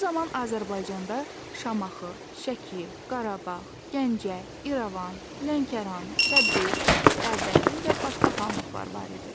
O zaman Azərbaycanda Şamaxı, Şəki, Qarabağ, Gəncə, İrəvan, Lənkəran, Təbriz, Ərdəbil və başqa xanlıqlar var idi.